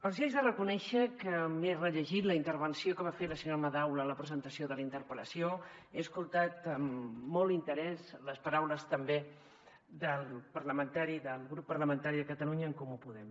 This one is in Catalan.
els he de reconèixer que m’he rellegit la intervenció que va fer la senyora madaula en la presentació de la interpel·lació he escoltat amb molt interès les paraules també del grup parlamentari de catalunya en comú podem